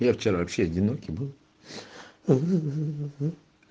одинокий был